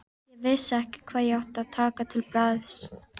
Ég vissi ekki hvað ég ætti að taka til bragðs.